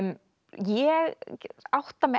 ég átta mig